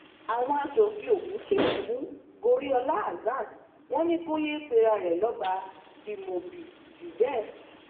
àwọn aṣòfin ogun kìlọ fún goriola hasan wọn ni kò yéé pera ẹ lọba imobiijubẹ